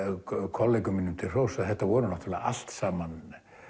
kollegum mínum til hróss að þetta voru náttúrulega allt saman